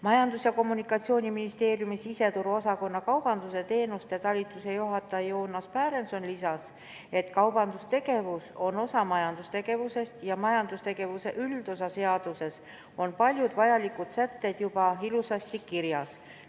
Majandus- ja Kommunikatsiooniministeeriumi siseturuosakonna kaubanduse ja teenuste talituse juhataja Joonas Pärenson selgitas, et kaubandustegevus on osa majandustegevusest ja majandustegevuse üldosa seaduses on paljud vajalikud sätted juba ilusasti kirjas.